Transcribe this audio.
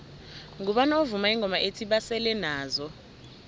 ngubani ovuma ingoma ethi basele nazo